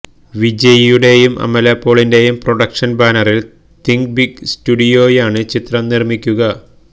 വിജയിയുടെയും അമല പോളിന്റെയും പ്രൊഡക്ഷന് ബാനറില് തിങ്ക് ബിഗ് സ്റ്റുഡിയോയാണ് ചിത്രം നിര്മ്മിക്കുക